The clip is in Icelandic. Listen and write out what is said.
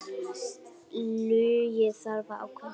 Illugi þarf að ákveða sig.